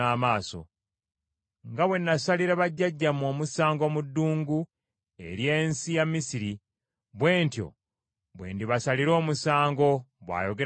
Nga bwe nasalira bajjajjammwe omusango mu ddungu ery’ensi ya Misiri, bwe ntyo bwe ndibasalira omusango, bw’ayogera Mukama Katonda.